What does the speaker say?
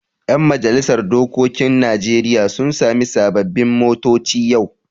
Yan majalisar dokokin Najeriya sun sami sababbin motoci yau.